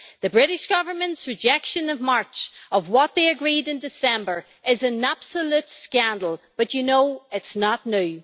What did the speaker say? The British Government's rejection in March of what they agreed in December is an absolute scandal but, you know, it is not new.